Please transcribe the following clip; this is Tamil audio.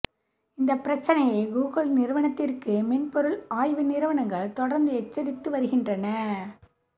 இந்த பிரச்சினையை கூகுள் நிறுவனத்திற்கு மென்பொருள் ஆய்வு நிறுவனங்கள் தொடர்ந்து எச்சரித்து வருகின்றன